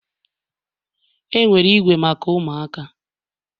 Enwere igwe maka ụmụaka